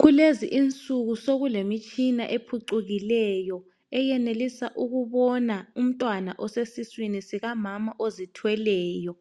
Kulezi insuku sokulemtshina ephucukileyo eyenelisa ukubona umntwana osesiswini sikamama ozithweleyo.